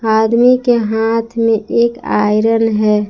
आदमी के हाथ में एक आयरन है।